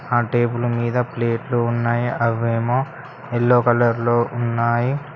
ఆ టేబుల్ మీద ప్లేట్లు ఉన్నాయి అవేమో ఎల్లో కలర్ లో ఉన్నాయి.